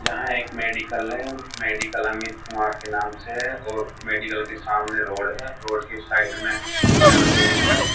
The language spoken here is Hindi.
यहां एक मेडिकल है मेडिकल अमित कुमार के नाम से है और मेडिकल के सामने रोड है रोड के उस साइड में स्कूटीयां लगी हुई हैं।